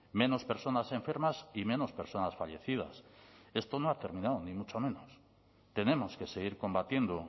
menos personas enfermas y menos personas fallecidas esto no ha terminado ni mucho menos tenemos que seguir combatiendo